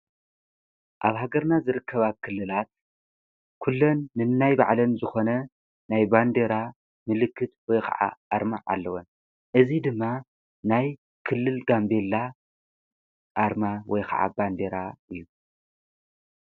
አብ ሃገርና ዝርከባ ክልላት ኩለን ነናይ ባዕለን ዝኮነ ናይ ባንዴራ ምልክት ወይ ከዓ አርማ አለወን። እዚ ድማ ናይ ክልል ጋምቤላ አርማ ወይ ከዓ ባንዴራ እዩ።